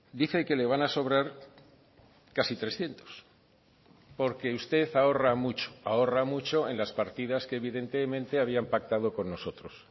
dice que le van a sobrar casi trescientos porque usted ahorra mucho ahorra mucho en las partidas que evidentemente habían pactado con nosotros